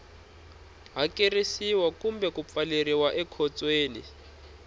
hakerisiwa kumbe ku pfaleriwa ekhotsweni